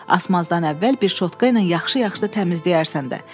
Asmazdan əvvəl bir şotka ilə yaxşı-yaxşı təmizləyərsən də.